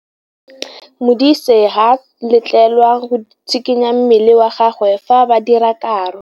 Modise ga a letlelelwa go tshikinya mmele wa gagwe fa ba dira karô.